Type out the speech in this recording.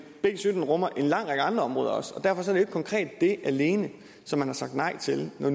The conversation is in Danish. b sytten rummer en lang række andre områder også og derfor ikke konkret det alene som man har sagt nej til når